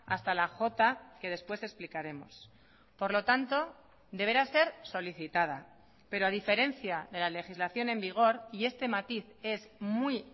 a hasta la j que después explicaremos por lo tanto deberá ser solicitada pero a diferencia de la legislación en vigor y este matiz es muy